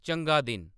चंगा दिन